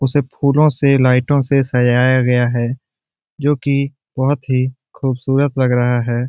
उसे फूलों से लाइटों से सजाया गया है जो की बोहोत ही खूबसूरत लग रहा है ।